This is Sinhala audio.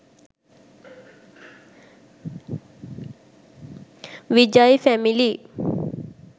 vijay family